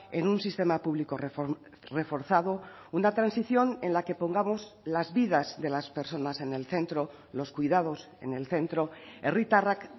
en un sistema público reforzado una transición en la que pongamos las vidas de las personas en el centro los cuidados en el centro herritarrak